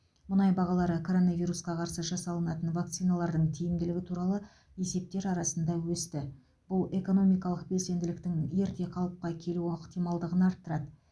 мұнай бағалары коронавирусқа қарсы жасалынатын вакциналардың тиімділігі туралы есептер арасында өсті бұл экономикалық белсенділіктің ерте қалыпқа келу ықтималдығын арттырады